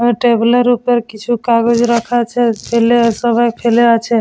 আর টেবিলের -এর ওপর কিছু কাগজ রাখা আছে ছেলেরা সবাই খেলে আছে--